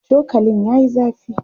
chokalin yayi zafi